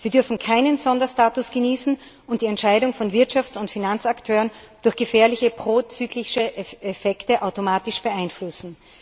Sie dürfen keinen Sonderstatus genießen und die Entscheidung von Wirtschafts und Finanzakteuren durch gefährliche prozyklische Effekte automatisch beeinflussen.